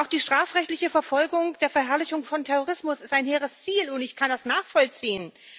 Auch die strafrechtliche Verfolgung der Verherrlichung von Terrorismus ist ein hehres Ziel und ich kann das nachvollziehen.